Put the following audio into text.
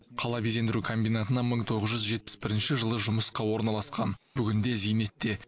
қала безендіру комбинатына мың тоғыз жүз жетпіс бірінші жылы жұмысқа орналасқан бүгінде зейнетте